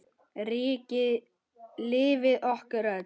Ríkið lifir okkur öll.